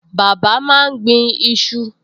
Bàbá máa ń gbin iṣu